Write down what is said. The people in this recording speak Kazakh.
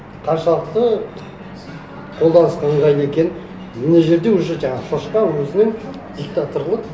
қаншалықты қолданысқа ыңғайлы екенін мына жерде уже жаңағы шошқа өзінің диктаторлық